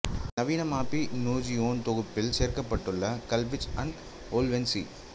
நவீன மாபிநோஜியோன் தொகுப்பில் சேர்க்கப்பட்டுள்ள கல்விச் அண்ட் ஓல்வென் சி